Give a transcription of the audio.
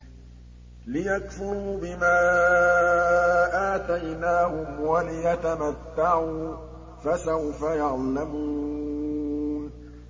لِيَكْفُرُوا بِمَا آتَيْنَاهُمْ وَلِيَتَمَتَّعُوا ۖ فَسَوْفَ يَعْلَمُونَ